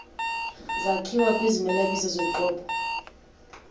zakhiwa kwizimelabizo zoqobo